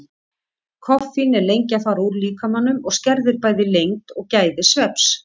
Koffín er lengi að fara úr líkamanum og skerðir bæði lengd og gæði svefns.